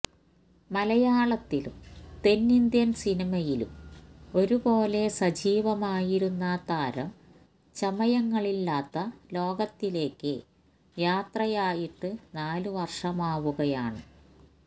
മലയാളത്തിലും തെന്നിന്ത്യൻ സിനിമയിലും ഒരുപോലെ സജീവമായിരുന്ന താരം ചമയങ്ങളില്ലാത്ത ലോകത്തിലേയ്ക്ക് യാത്രയായിട്ട് നാല് വർഷമാവുകയാണ്